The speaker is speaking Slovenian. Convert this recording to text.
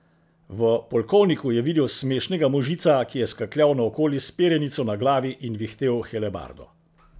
V polkovniku je videl smešnega možica, ki je skakljal naokoli s perjanico na glavi in vihtel helebardo.